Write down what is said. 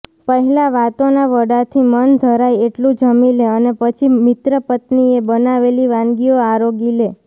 પહેલાં વાતોનાં વડાંથી મન ધરાય એટલું જમી લે અને પછી મિત્રપત્નીએ બનાવેલી વાનગીઓ આરોગી લે